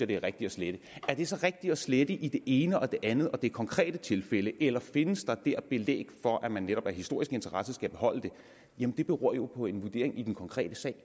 det er rigtigt at slette er det så rigtigt at slette i det ene og det andet og i det konkrete tilfælde eller findes der dér belæg for at man netop af historisk interesse skal beholde det jamen det beror jo på en vurdering i den konkrete sag